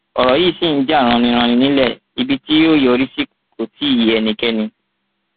ọrọ yìí ṣì ń jà raninranin nílẹ ibi tí yóò yọrí sí kó tí ì yé ẹnikẹni